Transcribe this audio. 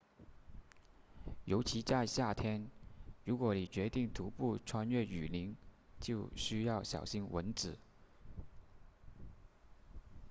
尤其在夏天如果你决定徒步穿越雨林就需要小心蚊子